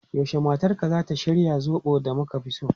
Yaushe matarka zata shirya zobo da muka fi so?